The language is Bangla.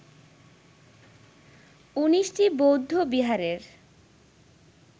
১৯টি বৌদ্ধবিহারের